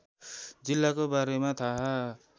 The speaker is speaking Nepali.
जिल्लाको बारेमा थाहा